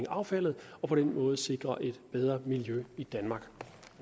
affald og på den måde sikre et bedre miljø i danmark